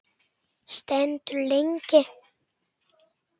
Stendur lengi.